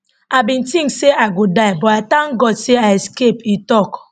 i bin tink say i go die but i thank god say i escape e tok